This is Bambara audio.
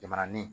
Jamananin